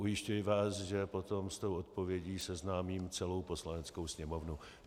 Ujišťuji vás, že potom s tou odpovědí seznámím celou Poslaneckou sněmovnu.